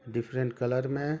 different colour में--